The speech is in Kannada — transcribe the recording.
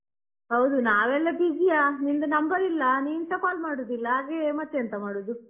ಹೌದು ನಾವೆಲ್ಲ busy ಯಾ ನಿಂದು number ಇಲ್ಲ ನೀನ್ ಸಾ call ಮಾಡುದಿಲ್ಲ ಹಾಗೆ ಮತ್ತೆಂತ ಮಾಡುದು.